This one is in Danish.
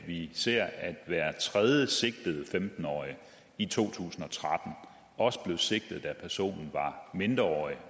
vi ser at hver tredje sigtede femten årig i to tusind og tretten også blev sigtet da personen var mindreårig